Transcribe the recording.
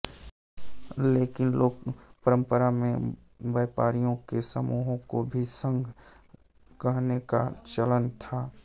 लेकिन लोकपंरपरा में व्यापारियों के समूहों को भी संघ कहने का चलन था